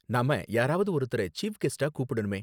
நாம யாராவது ஒருத்தரை சீஃப் கெஸ்ட்டா கூப்பிடணுமே.